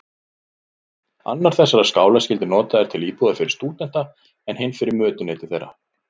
Annar þessara skála skyldi notaður til íbúðar fyrir stúdenta, en hinn fyrir mötuneyti þeirra.